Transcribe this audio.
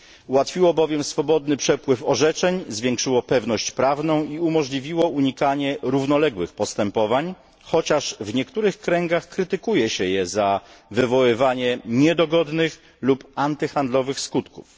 Ułatwiło, bowiem swobodny przepływ orzeczeń, zwiększyło pewność prawną i umożliwiło unikanie równoległych postępowań, chociaż w niektórych kręgach krytykuje się je za wywoływanie niedogodnych lub antyhandlowych skutków.